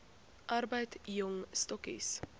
arbeid jong stokkies